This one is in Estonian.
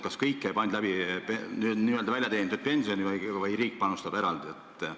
Kas kõik käib ainult läbi väljateenitud pensioni või panustab riik eraldi?